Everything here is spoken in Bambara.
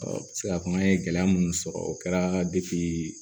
n bɛ se k'a fɔ an ye gɛlɛya minnu sɔrɔ o kɛra